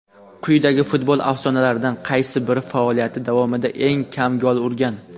Quyidagi futbol afsonalaridan qaysi biri faoliyati davomida eng kam gol urgan?.